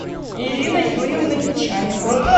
ирина юрьевна нечаева